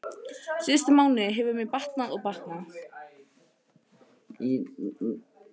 Síðustu mánuði hefur mér batnað og batnað.